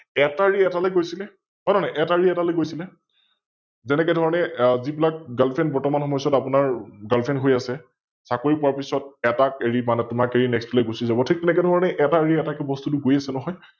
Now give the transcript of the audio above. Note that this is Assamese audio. এটা এৰি এটালৈ গৈছিলে, হয় নে নহয়? এটা এৰি এটালৈ গৈছিলে, যেনেকেধৰণে যি বিলাক Girlfriend বৰ্ত্তমান সময়চোৱাত আপোনাৰ Girlfriend হৈ আছে, চাকৰি পোৱাৰ পিছত এটাক এৰি মানে তোমাক এৰি Next টোলৈ গুছি যাব, ঠিক তেনেকেধৰণে এটা এৰি এটাক বস্তুটো গৈ আছে নহয়